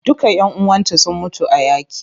Duka ƴan uwanta sun mutu a yaƙi.